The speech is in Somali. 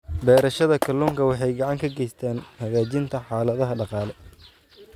Beerashada kalluunku waxay gacan ka geysataa hagaajinta xaaladaha dhaqaale.